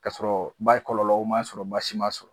K'a sɔrɔ ba kɔlɔlɔ o ma sɔrɔ baai m'a sɔrɔ